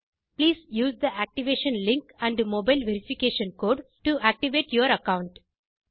please use the activation link and mobile verification code to activate your account